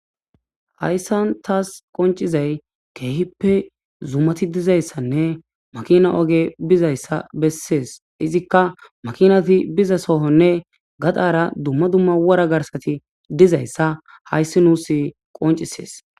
hayssan taas qoncizay keehippe zumati dizayssanne makina oge bizayssa bessees izikka makinati biza sohonne gadaara dumma dumma wora garsati dizayssa hayssi nuus qoncisees